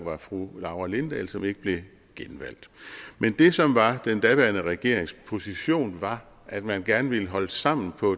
var fru laura lindahl som ikke blev genvalgt men det som var den daværende regerings position var at man gerne ville holde sammen på